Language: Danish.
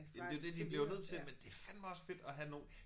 Men det jo det de bliver jo nødt til men det fandeme også fedt at have nogen